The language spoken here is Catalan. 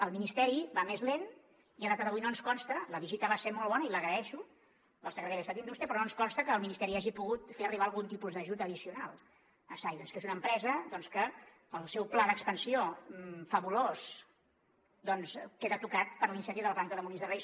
el ministeri va més lent i a data d’avui no ens consta la visita va ser molt bona i l’agraeixo del secretari d’estat d’indústria que el ministeri hagi pogut fer arribar algun tipus d’ajut addicional a silence que és una empresa doncs que el seu pla d’expansió fabulós queda tocat per l’incendi de la planta de molins de rei